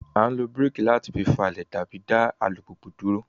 A nlo brake láti fa fifalẹ tàbí dá alupupu dúró